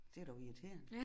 Det er dog irriterende